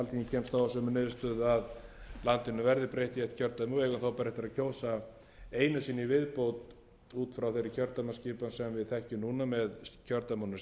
kemst þá að þeirri niðurstöðu að landinu verði breytt í eitt kjördæmi og við eigum þá bara eftir að kjósa einu sinni í viðbót út frá þeirri kjördæmaskipan sem við þekkjum núna með kjördæmunum